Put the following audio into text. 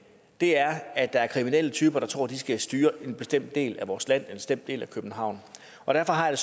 er at der er kriminelle typer der tror de skal styre en bestemt del af vores land en bestemt del af københavn og derfor har jeg